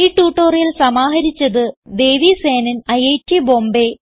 ഈ ട്യൂട്ടോറിയൽ സമാഹരിച്ചത് ദേവി സേനൻ ഐറ്റ് ബോംബേ